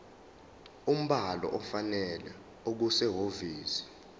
umbhalo ofanele okusehhovisi